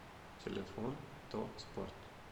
телефон то спорт